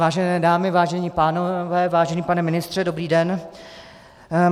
Vážené dámy, vážení pánové, vážený pane ministře, dobrý den.